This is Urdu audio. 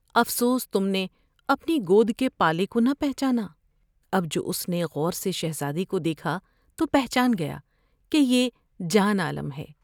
افسوس تم نے اپنی گود کے پالے کو نہ پہچانا۔ اب جو اس نے غور سے شہزادے کو دیکھا توپہچان گیا کہ یہ جان عالم ہیں ۔